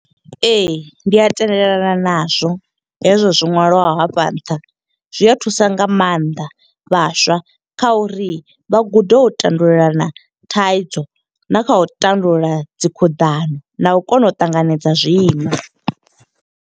Ee, ndi a tendelalana na zwo hezwo zwo ṅwaliwaho hafha nṱha. Zwi a thusa nga maanḓa vhaswa kha uri vha gude u tandululelana thaidzo, na kha u tandulula dzi khuḓano, na u kona u ṱanganedza zwiimo